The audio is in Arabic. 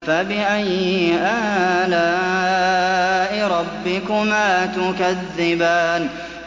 فَبِأَيِّ آلَاءِ رَبِّكُمَا تُكَذِّبَانِ